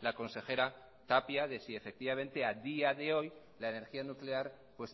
la consejera tapia de si efectivamente a día de hoy la energía nuclear